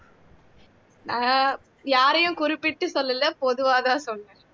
அஹ் யாரையும் குறிப்பிட்டு சொல்லல பொதுவாதான் சொன்னேன்